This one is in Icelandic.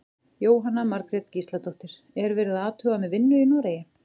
Jóhanna Margrét Gísladóttir: Er verið að athuga með vinnu í Noregi?